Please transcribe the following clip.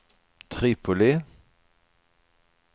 Tripoli